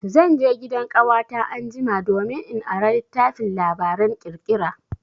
Zan je gidan ƙawata anjima domin in ara littafin labaran ƙirƙira.